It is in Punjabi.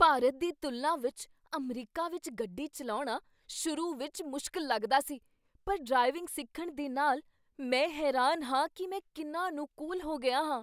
ਭਾਰਤ ਦੀ ਤੁਲਨਾ ਵਿੱਚ ਅਮਰੀਕਾ ਵਿੱਚ ਗੱਡੀ ਚੱਲਾਉਣਾ ਤਾਰੇ ਵਿੱਚ ਮੁਸ਼ਕਲ ਲੱਗਦਾ ਸੀ, ਪਰ ਡਰਾਈਵਿੰਗ ਸਿੱਖਣ ਦੇ ਨਾਲ, ਮੈਂ ਹੈਰਾਨ ਹਾਂ ਕੀ ਮੈਂ ਕਿੰਨਾ ਅਨੁਕੂਲ ਹੋ ਗਿਆ ਹਾਂ!